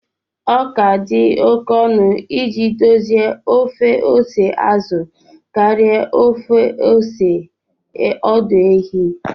Ọ dị oke ọnụ iji dozie ofe ose azụ karịa ofe ose ọdụ ehi